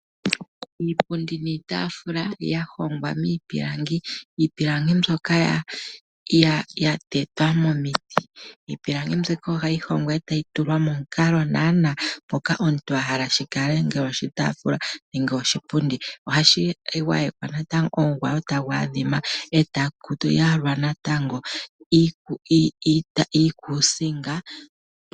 Iipundi niitaafula ya hongwa miipilangi, iipilangi mbyoka ya tetwa momiti. Iipilangi mbyoka ohayi hongwa e tayi tulwa mo mukalo naana ngoka omuntu ahala yi kale, ngele oshitaafula nenge oshipundi. Ohashi gwayekwa natango omugwayo tagu adhima e taku yalwa natango iikuusinga.